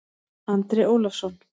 Andri Ólafsson